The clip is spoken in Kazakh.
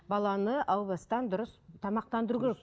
баланы әу бастан дұрыс тамақтандыру керек